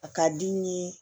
A ka di n ye